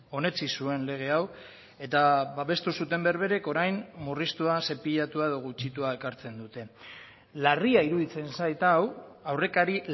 onetsi zuen lege hau eta babestu zuten berberek orain murriztua zepilatua edo gutxitua ekartzen dute larria iruditzen zait hau aurrekari